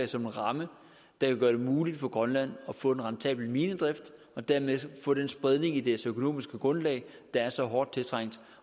som en ramme der vil gøre det muligt for grønland at få en rentabel minedrift og dermed få den spredning i deres økonomiske grundlag der er så hårdt tiltrængt